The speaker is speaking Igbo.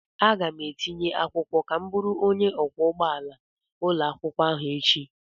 Aga m etinye akwụkwọ ka m bụrụ onye ọkwọ ụgbọala ụlọakwụkwọ ahụ echi.